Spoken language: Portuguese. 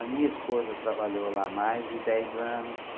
A minha esposa trabalhou lá mais de dez anos.